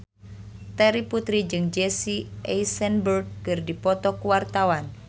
Terry Putri jeung Jesse Eisenberg keur dipoto ku wartawan